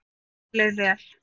Okkur leið vel.